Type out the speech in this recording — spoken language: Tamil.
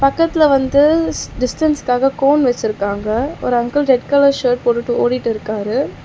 பக்கத்துல வந்து டிஸ்டன்ஸ்காக கோன் வச்சிருக்காங்க. ஒரு அங்கிள் ரெட் கலர் ஷர்ட் போட்டுட்டு ஓடிட்டு இருக்காரு.